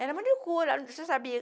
Era manicure, você sabia.